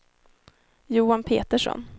Johan Petersson